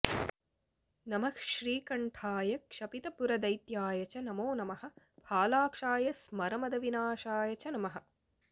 नमः श्रीकण्ठाय क्षपितपुरदैत्याय च नमो नमः फालाक्षाय स्मरमदविनाशाय च नमः